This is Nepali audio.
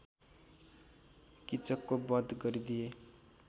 कीचकको वध गरिदिए